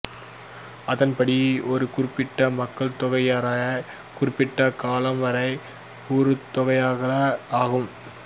அதன்படி ஒரு குறிப்பிட்ட மக்கள்தொகையினரை குறிப்பிட்ட காலம் வரை உற்றுநோக்கலே ஆகும்